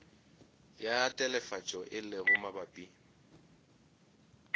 ya telefatšo e lego mabapi